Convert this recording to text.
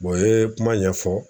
ye kuma ɲɛfɔ